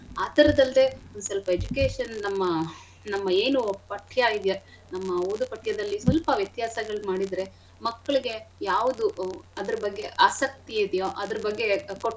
ಆಥರದಲ್ದೆ ಒಂದ್ ಸ್ವಲ್ಪ education ನಮ್ಮ ನಮ್ಮ ಏನು ಪಠ್ಯ ಇದ್ಯ ನಮ್ಮ ಓದೋ ಪಠ್ಯದಲ್ಲಿ ಸ್ವಲ್ಪ ವ್ಯತ್ಯಾಸಗಳ್ ಮಾಡಿದ್ರೆ ಮಕ್ಳಿಗೆ ಯಾವ್ದು ಅದ್ರ ಬಗ್ಗೆ ಆಸಕ್ತಿ ಇದಿಯೋ ಅದ್ರ ಬಗ್ಗೆ.